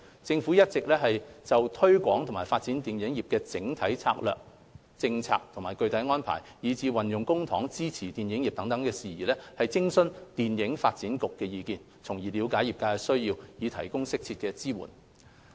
政府一直有就推廣和發展電影業的整體策略、政策和具體安排，以至運用公帑支援電影業等事宜，徵詢電影發展局意見，了解業界需要，以提供適切的支援。